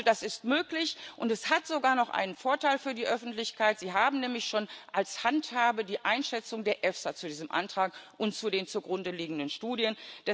Also das ist möglich, und es hat sogar noch einen Vorteil für die Öffentlichkeit Sie haben nämlich schon als Handhabe die Einschätzung der EFSA zu diesem Antrag und zu den zugrundeliegenden Studien.